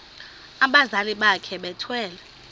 abazali bakhe bethwele